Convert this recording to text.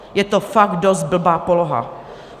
Je to fakt dost blbá poloha.